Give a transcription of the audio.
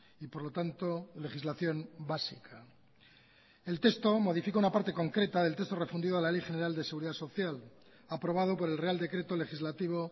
y por lo tanto legislación básica el texto modifica una parte concreta del texto refundido a la ley general de la seguridad social aprobado por el real decreto legislativo